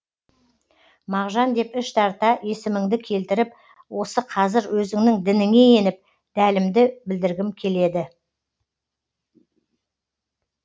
мағжан деп іш тарта есіміңді келтіріп осы қазір өзіңнің дініңе еніп дәлімді білдіргім келеді